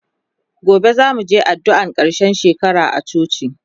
gobe zamuje addu'an karshen shekara a coci